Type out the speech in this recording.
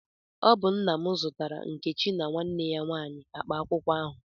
Ọ bụ nna m zụtara Nkechi na nwanne ya nwanyị akpa akwụkwọ ahụ.